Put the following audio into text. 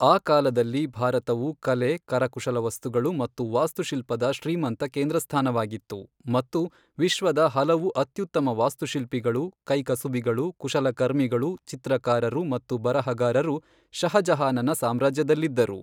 ಆ ಕಾಲದಲ್ಲಿ ಭಾರತವು ಕಲೆ, ಕರಕುಶಲ ವಸ್ತುಗಳು ಮತ್ತು ವಾಸ್ತುಶಿಲ್ಪದ ಶ್ರೀಮಂತ ಕೇಂದ್ರಸ್ಥಾನವಾಗಿತ್ತು ಮತ್ತು ವಿಶ್ವದ ಹಲವು ಅತ್ಯುತ್ತಮ ವಾಸ್ತುಶಿಲ್ಪಿಗಳು, ಕೈಕಸುಬಿಗಳು, ಕುಶಲಕರ್ಮಿಗಳು, ಚಿತ್ರಕಾರರು ಮತ್ತು ಬರಹಗಾರರು ಷಹಜಹಾನನ ಸಾಮ್ರಾಜ್ಯದಲ್ಲಿದ್ದರು.